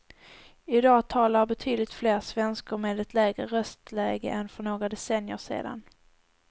I dag talar betydligt fler svenskor med ett lägre röstläge än för några decennier sedan.